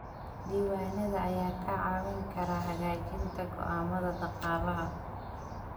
Diiwaanada ayaa kaa caawin kara hagaajinta go'aamada dhaqaalaha.